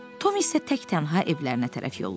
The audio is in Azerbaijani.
Tom isə təktənha evlərinə tərəf yollandı.